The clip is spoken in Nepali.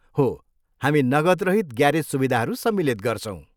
हो, हामी नगदरहित ग्यारेज सुविधाहरू सम्मिलित गर्छौँ।